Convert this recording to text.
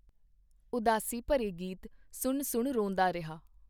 ਉਦਾਸੀ ਭਰੇ ਗੀਤ ਸੁਣ ਸੁਣ ਰੋਂਦਾ ਰਿਹਾ.